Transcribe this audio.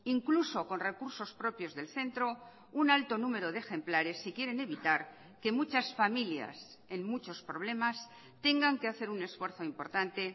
incluso con recursos propios del centro un alto número de ejemplares si quieren evitar que muchas familias en muchos problemas tengan que hacer un esfuerzo importante